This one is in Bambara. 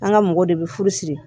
An ka mɔgɔw de bɛ furu siri